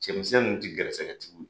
Cɛmisɛn ninnu ti garisigɛtigi